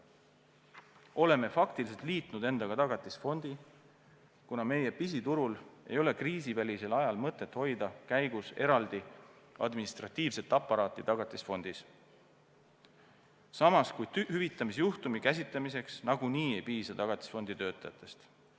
Oleme faktiliselt endaga liitnud Tagatisfondi, kuna meie pisiturul ei ole kriisivälisel ajal mõtet hoida käigus eraldi administratiivset aparaati Tagatisfondis, samas kui hüvitamise juhtumi käsitlemiseks nagunii ei piisa Tagatisfondi töötajatest.